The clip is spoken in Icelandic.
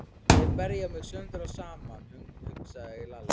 Þeir berja mig sundur og saman, hugsaði Lalli.